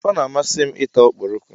Ee, ọ na-amasị m ị ta ọkpọrọko.